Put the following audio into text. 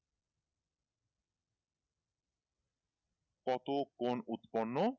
কত কোন উৎপর্নো